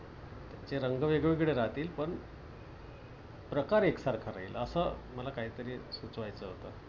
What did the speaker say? ते रंग वेगवेगळे राहतील पण प्रकार एकसारखा राहील. अस मला काहीतरी सुचवायचं होतं.